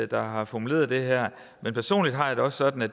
der har formuleret det her men personligt har jeg det også sådan at